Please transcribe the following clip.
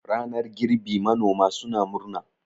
ranar girbi manoma suna murna